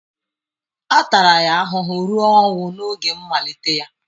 A tara ya ahụhụ ruo ọnwụ n'oge mmalite ya.